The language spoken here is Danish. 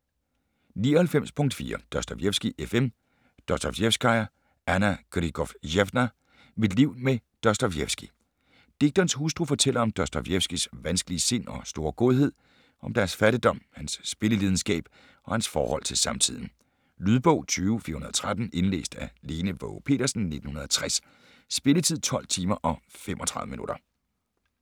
99.4 Dostojevskij, F. M. Dostojevskaja, Anna Grigorjevna: Mit liv med Dostojevskij Digterens hustru fortæller om Dostojevskijs vanskelige sind og store godhed, om deres fattigdom, hans spillelidenskab og hans forhold til samtiden. Lydbog 20413 Indlæst af Lene Waage Petersen, 1960. Spilletid: 12 timer, 35 minutter.